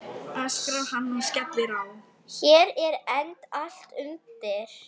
Hér er enda allt undir.